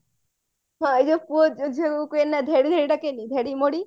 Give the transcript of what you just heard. ଏଇ ଯୋଉ ପୁଅ ଝିଅ କୁ କୁହେନା ଧେଡି ଧେଡି ଡାକେନି ଧେଡି ମୋଡି